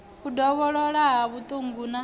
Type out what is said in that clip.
u dovholola ha vhuṱungu na